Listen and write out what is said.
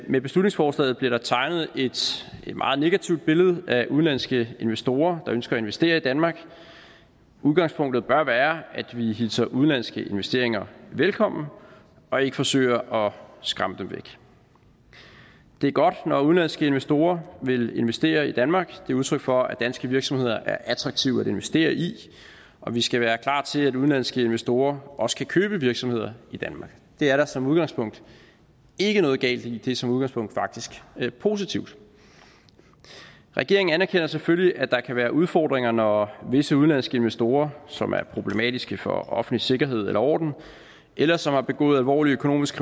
med beslutningsforslaget bliver tegnet et meget negativt billede af udenlandske investorer der ønsker at investere i danmark udgangspunktet bør være at vi hilser udenlandske investeringer velkommen og ikke forsøger skræmme dem væk det er godt når udenlandske investorer vil investere i danmark det er udtryk for at danske virksomheder er attraktive at investere i og vi skal være klar til at udenlandske investorer også kan købe virksomheder i danmark det er der som udgangspunkt ikke noget galt i det er som udgangspunkt faktisk positivt regeringen anerkender selvfølgelig at der kan være udfordringer når visse udenlandske investorer som er problematiske for offentlig sikkerhed eller orden eller som har begået alvorlig økonomisk